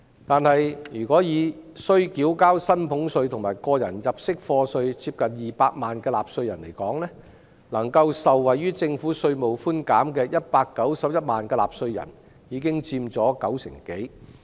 但是，需要繳交薪俸稅和個人入息課稅的納稅人接近200萬，能夠受惠於這項稅務寬減的有131萬人，已經佔當中六成多。